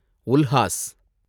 Ulhas